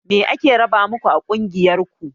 Me ake raba maku a ƙungiyar ku?